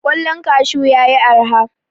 Ƙwallon kashu ya yi araha.